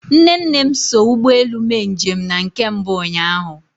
Nne nne m so ụgbọ elu mee njem na nke mbụ ụnyahụ.